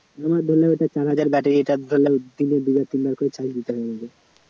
ছ হাজার battery টা দিনে দুবার তিনবার করে charge দিতে হবে না